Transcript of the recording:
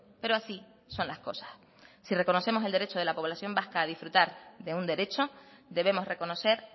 pero así son las cosas si reconocemos el derecho de la población vasca a disfrutar de un derecho debemos reconocer